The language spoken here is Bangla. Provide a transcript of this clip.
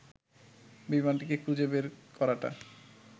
বিমানটিকে খুঁজে বের করাটা